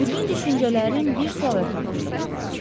Bütün düşüncələrim bir sual ətrafında fırlanır.